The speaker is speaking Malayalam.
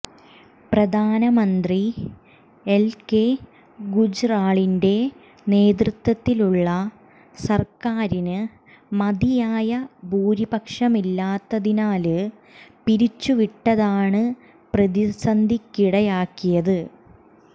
പ്രധാനമന്ത്രി എല്കെ ഗുജ്റാളിന്റെ നേതൃത്വത്തിലുള്ള സര്ക്കാരിന് മതിയായ ഭൂരിപക്ഷമില്ലാത്തതിനാല് പിരിച്ചുവിട്ടതാണ് പ്രതിസന്ധിക്കിടയാക്കിയത്